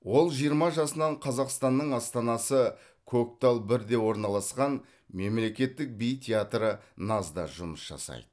ол жиырма жасынан қазақстанның астанасы көктал бірде орналасқан мемлекеттік би театры наз да жұмыс жасайды